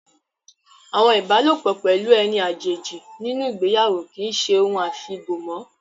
Àwọn ibalopo pelu eni àjèjì nínú ìgbéyàwó kì í ṣe ohun afi bo mọ́